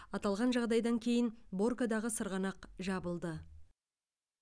аталған жағдайдан кейін боркадағы сырғанақ жабылды